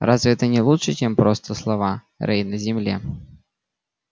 разве это не лучше чем просто слова рай на земле